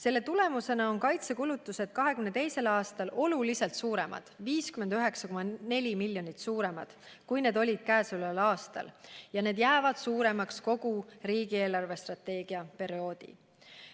Selle tulemusena on kaitsekulutused 2022. aastal oluliselt suuremad – 59,4 miljonit suuremad, kui need olid sel aastal – ja need jäävad suuremaks kogu riigi eelarvestrateegia perioodiks.